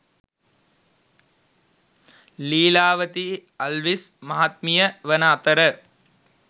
ලීලාවතී අල්විස් මහත්මිය වන අතර